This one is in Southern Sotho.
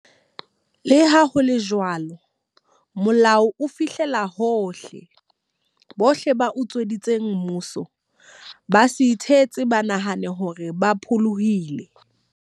Leha ho le jwalo, molao o fihlella hohle. Bohle ba utsweditseng mmuso, ba se ithetse ba nahane hore ba pholohile.